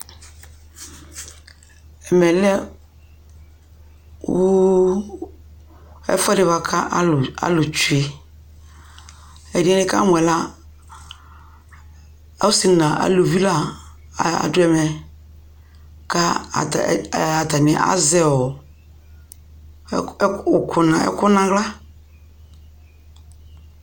Ɛmɛ lɛ uuu ɛfuɛdi bua kaaluutwee ɛdinɛ nikamu la asii aljvii la aduɛmukaa atani aʒɛɔɔ ɛku naɣla